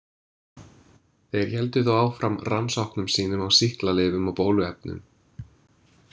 Þeir héldu þó áfram rannsóknum sínum á sýklalyfjum og bóluefnum.